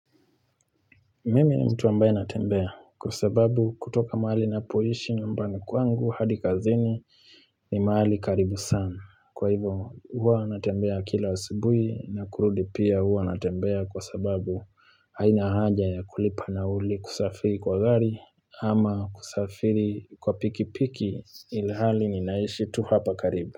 Mimi ni mtu ambaye natembea kwa sababu kutoka mahali napoishi nyumbani kwangu hadi kazini ni mahali karibu sana kwa hivo huwa natembea kila asubui na kurudi pia huwa natembea kwa sababu haina haja ya kulipa nauli kusafiri kwa gari ama kusafiri kwa piki piki ilhali ninaishi tu hapa karibu.